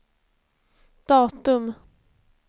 datum